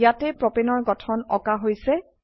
ইয়াতে প্ৰপাণে ৰ গঠন আকা হৈছে